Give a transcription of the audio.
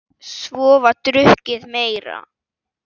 Svo var drukkið meira.